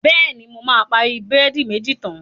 Bẹ̀ẹ̀ni, mo máa parí búrẹ́dì méjì tán.